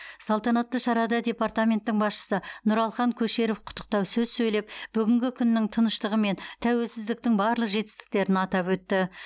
салтанатты шарада департаменттің басшысы нұралхан көшеров құттықтау сөз сөйлеп бүгінгі күннің тыныштығы мен тәуелсіздіктің барлық жетістіктерін атап өтті